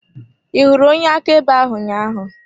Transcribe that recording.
Ị hụrụ onye akaebe ahụ ụnyaahụ?